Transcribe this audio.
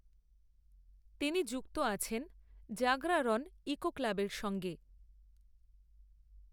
তিনি যুক্ত আছেন জাগরাৱন ইকো ক্লাবের সঙ্গে।